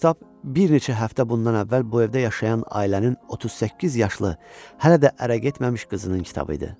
Həmin kitab bir neçə həftə bundan əvvəl bu evdə yaşayan ailənin 38 yaşlı hələ də ərə getməmiş qızının kitabı idi.